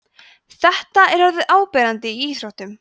þetta er orðið áberandi í íþróttum